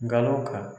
Galaw ka